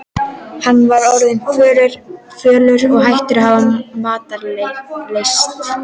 Hann var orðinn fölur og hættur að hafa matarlyst.